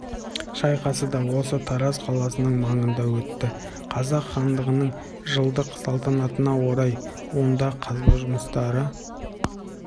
шайқасы да осы тараз қаласы маңында өтті қазақ хандығының жылдық салтанатына орай онда қазба жұмыстары